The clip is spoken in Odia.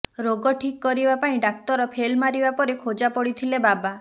ରୋଗ ଠିକ୍ କରିବା ପାଇଁ ଡାକ୍ତର ଫେଲ ମାରିବା ପରେ ଖୋଜାପଡିଥିଲେ ବାବା